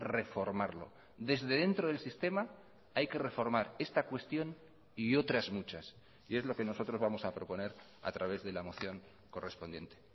reformarlo desde dentro del sistema hay que reformar esta cuestión y otras muchas y es lo que nosotros vamos a proponer a través de la moción correspondiente